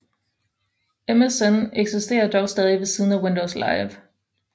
MSN eksistere dog stadig ved siden af Windows Live